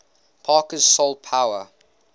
parker's soul power